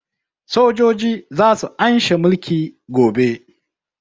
Sojoji za su an she mulki gobe